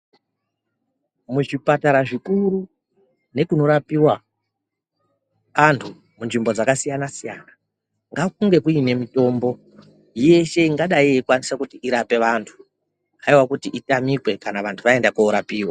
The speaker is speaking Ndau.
Muzvipatara zvikuru nekunorapiwa antu munzvimbo dzakasiyana siyana ngakunge kuine mitombo yeshe ingadai yeikwanisa kuti irape vantu haiwa kuti itamike kana vantu vaende korapiwa.